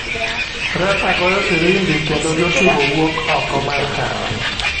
Refa goyo firimbi kendo jo tugo wuok oko mar pap.